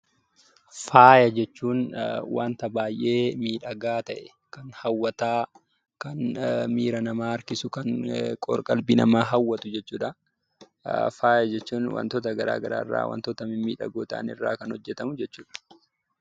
Faaya jechuun wanta baay'ee miidhagaa ta'e, kan hawwataa, kan miira namaa harkisu, kan qor-qalbii namaa hawwatu jechuu dha. Faaya jechuun wantoota garaagaraa irraa wantoota mimmiidhagoo ta'an irraa kan hojjetamu jechuu dha.